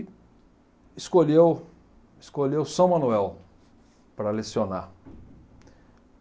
Escolheu, escolheu São Manuel para lecionar.